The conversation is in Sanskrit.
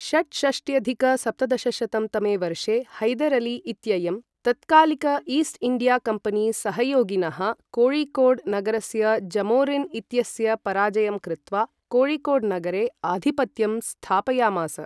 षट्षष्ट्यधिक सप्तदशशतं तमे वर्षे हैदर् अली इत्ययं तत्कालिक ईस्ट् इण्डिया कम्पनी सहयोगिनः, कोझिकोड नगरस्य जमोरिन् इत्यस्य पराजयं कृत्वा कोझिकोड नगरे आधिपत्यं स्थापयामास।